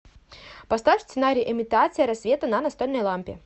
поставь сценарий имитация рассвета на настольной лампе